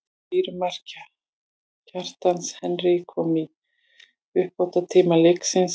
Sigurmark, Kjartans Henry kom í uppbótartíma leiksins.